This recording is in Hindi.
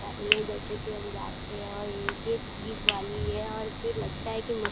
उतार लिए है। और जैसे कि हम जानते है एक-एक चीज वाली ये है और फिर भी लगता है कि --